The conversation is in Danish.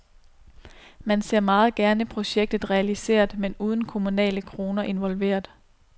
Man ser meget gerne projektet realiseret, men uden kommunale kroner involveret.